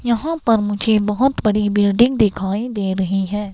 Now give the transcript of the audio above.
यहां पर मुझे बहुत बड़ी बिल्डिंग दिखाई दे रही है.